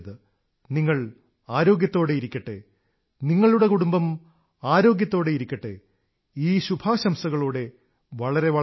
നിങ്ങൾ ആരോഗ്യത്തോടെയിരിക്കട്ടെ നിങ്ങളുടെ കുടുംബം ആരോഗ്യത്തോടെയിരിക്കട്ടെ ഈ ശുഭാശംസകളോടെ വളരെ നന്ദി